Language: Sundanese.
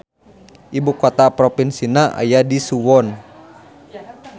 Ibukota propinsina aya di Suwon.